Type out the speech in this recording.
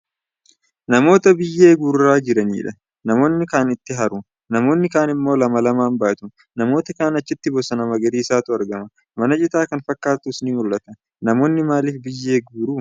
Namoota biyyee guuraa jiranidha. Namoonni kaan itti haru. Namoonni kaan immoo lama lamaan baatu. Namoota kaan achitti bosona magariisatu argama. Mana citaa kan fakkaatus ni mul'ata. Namoonni maaliif biyyee guuru?